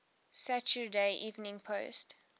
saturday evening post